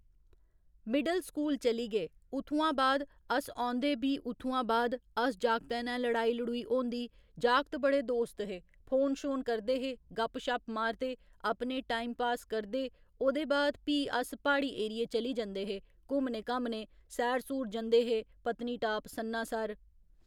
middle school चली गे उत्थुआं बाद अस औंदे बी उत्थुआं बाद अस जागतें नै लड़ाई लड़ूई होंदी जागत बड़े दोस्त हे फोन शोन करदे हे गपशप मारदे अपने टाईम पास करदे ओह्दे बाद भी अस प्हाड़ी एरिये चली जंदे हे घुम्मने घाम्मने सैर सूर जंदे हे पत्नीटाप, सन्नासर